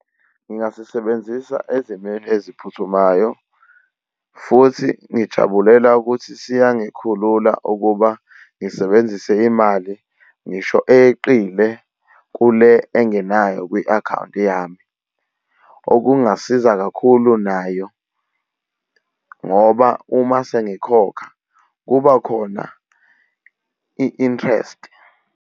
Ngingasisebenzisa ezimeni eziphuthumayo futhi ngijabulela ukuthi siyangikhulula ukuba ngisebenzise imali, ngisho eyeqile kule engenayo kwi-akhawunti yami. Okungasiza kakhulu nayo ngoba uma sengikhokha kuba khona i-interest.